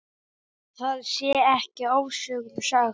Það sé ekki ofsögum sagt.